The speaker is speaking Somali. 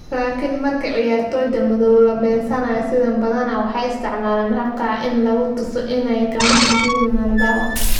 Laakiin markii ciyaartoyda madow la beegsanayo sidaan, badanaa waxay isticmaalaan habka ah in lagu tuso inay la mid yihiin mandhawa.